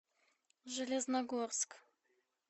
железногорск